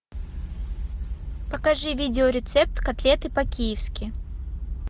покажи видео рецепт котлеты по киевски